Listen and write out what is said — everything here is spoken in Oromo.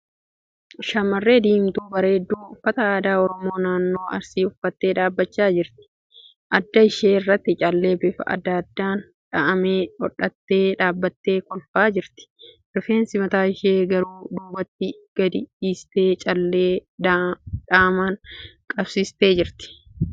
Shamarree diimtuu bareedduu uffata aadaa Oromoo naannoo Arsii uffattee dhaabbachaa jirti. Adda ishee irratti callee bifa adda addaan dha'amee godhattee dhaabbattee kolfaa jirti. Rifeensa mataa ishee gara duubatti gadi dhiistee callee dha'amaan qabsiistee jirti.